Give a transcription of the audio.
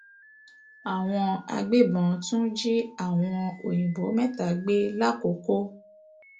àwọn agbébọn tún jí àwọn òyìnbó mẹta gbé làkoko